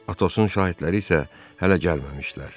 Atosun şahidləri isə hələ gəlməmişdilər.